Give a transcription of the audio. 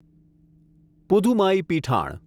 Pudhumaipithan